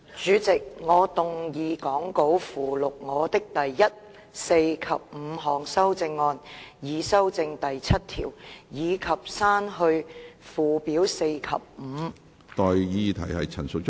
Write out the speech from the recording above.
主席，我動議講稿附錄我的第一、四及五項修正案，以修正第7條，以及刪去附表4及5。